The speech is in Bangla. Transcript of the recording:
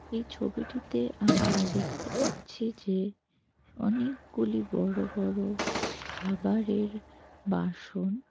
এই ছবিটিতে আমরা দেখতে পাচ্ছি যে অনেকগুলি বড় বড় খাবারের বাসন।